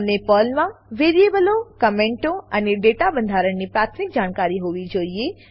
તમને પર્લમાનાં વેરીએબલો કમેન્ટો અને ડેટા બંધારણની પ્રાથમિક જાણકારી હોવી જોઈએ